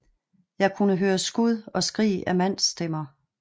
Jeg kunne høre skud og skrig af mandsstemmer